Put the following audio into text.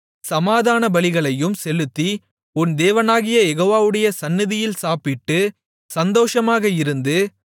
சமாதானபலிகளையும் செலுத்தி உன் தேவனாகிய யெகோவாவுடைய சந்நிதியில் சாப்பிட்டுச் சந்தோஷமாக இருந்து